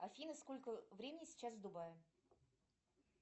афина сколько времени сейчас в дубае